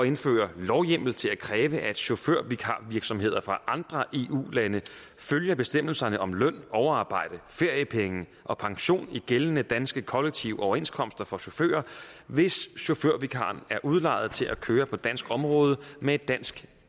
indføre lovhjemmel til at kræve at chaufførvikarvirksomheder fra andre eu lande følger bestemmelserne om løn overarbejde feriepenge og pension i gældende danske kollektive overenskomster for chauffører hvis chaufførvikaren er udlejet til at køre på dansk område med et dansk